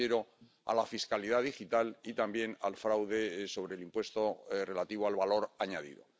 Me refiero a la fiscalidad digital y también al fraude sobre el impuesto relativo al valor añadido.